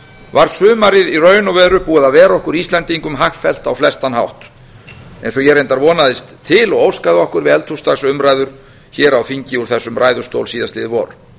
var sumarið í raun og veru búið að vera okkur íslendingum hagfellt á flestan hátt eins og ég reyndar vonaðist til og óskaði okkur við eldhúsdagsumræður hér á þingi úr þessum ræðustól síðastliðið vor